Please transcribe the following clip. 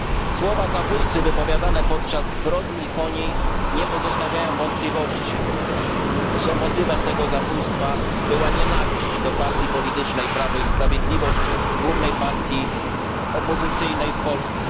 Słowa zabójcy wypowiedziane podczas zbrodni nie pozostawiają wątpliwości, że motywem tego zabójstwa była nienawiść do partii politycznej Prawo i Sprawiedliwość, głównej partii opozycyjnej w Polsce.